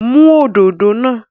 Mú òdodo náà.